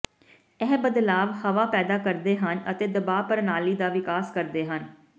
ਇਹ ਬਦਲਾਵ ਹਵਾ ਪੈਦਾ ਕਰਦੇ ਹਨ ਅਤੇ ਦਬਾਅ ਪ੍ਰਣਾਲੀ ਦਾ ਵਿਕਾਸ ਕਰਦੇ ਹਨ